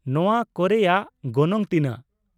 ᱱᱚᱶᱟ ᱠᱚᱨᱮᱭᱟᱜ ᱜᱚᱱᱚᱝ ᱛᱤᱱᱟᱹᱜ ?